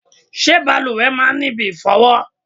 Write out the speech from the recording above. Ṣé bàlùwẹ̀ máa ń ní ibi ìfọ̀wọ?